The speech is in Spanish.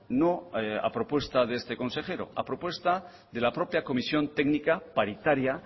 no a propuesta de este consejero a propuesta de la propia comisión técnica paritaria